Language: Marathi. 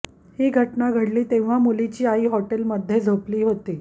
ही घटना घडली तेव्हा मुलीची आई हॉटेलमध्ये झोपली होती